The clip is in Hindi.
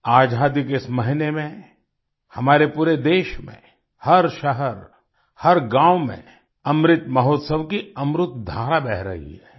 आज़ादी के इस महीने में हमारे पूरे देश में हर शहर हर गाँव में अमृत महोत्सव की अमृतधारा बह रही है